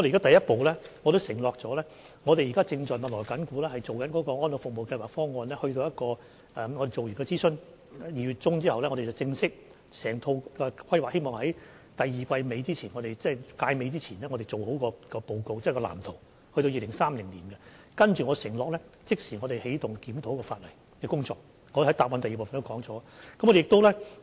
首先，我們已承諾及正密鑼緊鼓地進行安老服務計劃方案，在2月中完成諮詢後，希望能正式把整套規劃在第二季尾前，即屆尾前完成報告及直至2030年的藍圖，我承諾之後便會即時起動檢討法例的工作，我在主體答覆第二部分也曾提及這點。